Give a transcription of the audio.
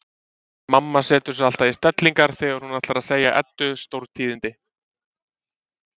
Mamma setur sig alltaf í stellingar þegar hún ætlar að segja Eddu stórtíðindi.